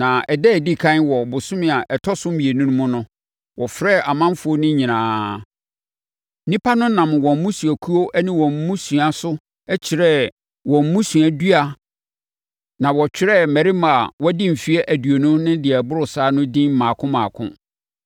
na ɛda a ɛdi ɛkan wɔ ɔbosome a ɛtɔ so mmienu no mu no, wɔfrɛɛ ɔmanfoɔ no nyinaa. Nnipa no nam wɔn mmusuakuo ne wɔn mmusua so kyerɛɛ wɔn mmusuadua na wɔtwerɛɛ mmarima a wɔadi mfeɛ aduonu ne deɛ ɛboro saa no edin mmaako mmaako